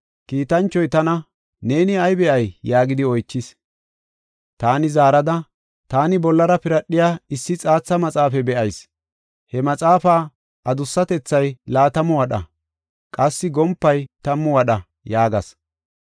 Kiitanchoy tana, “Neeni ay be7ay?” yaagidi oychis. Taani zaarada, “Taani bollara piradhiya issi xaatha maxaafa be7ayis; he maxaafa adussatethay laatamu wadha qassi gompay tammu wadha” yaagas.